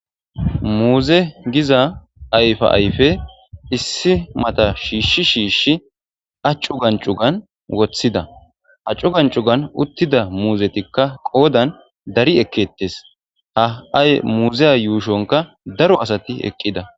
muuze giza ayfa ayfe issi mata shiishshi shiishshi accu gancugan woththida accu gancugan uttida muuzetikka qoodan dari ekkettes ha7ay muuzeya yuushonka daro asati eqqida